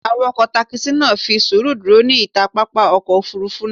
Awakọ takisi naa fi suuru duro ni ita papa ọkọ ofurufu naa